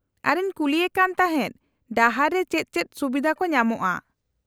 -ᱟᱨᱤᱧ ᱠᱩᱞᱤᱭᱮ ᱠᱟᱱ ᱛᱟᱦᱮᱫ ᱰᱟᱦᱟᱨ ᱨᱮ ᱪᱮᱫ ᱪᱮᱫ ᱥᱩᱵᱤᱫᱷᱟ ᱠᱚ ᱧᱟᱢᱚᱜᱼᱟ ᱾